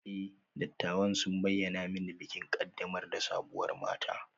E, dattawan sun bayyana mani bikin ƙaddamar da sabuwar mata